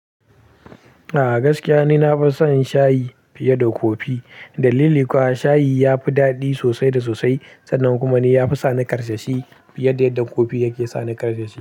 A'a gaskiya ni na fi son shayi fiye da kofi. Dalili kuwa shayi yafi daɗi sosai da sosai sannan kuma ni yafi sani ƙarsashi fiye da yadda kofi yake sani ƙarsashi.